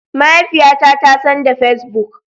Mahaifiyata ta son da Facebook.